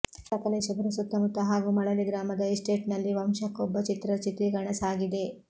ಸಕಲೇಶಪುರ ಸುತ್ತಮುತ್ತ ಹಾಗೂ ಮಳಲಿ ಗ್ರಾಮದ ಎಸ್ಟೇಟ್ನಲ್ಲಿ ವಂಶಕೊಬ್ಬ ಚಿತ್ರದ ಚಿತ್ರೀಕರಣ ಸಾಗಿದೆ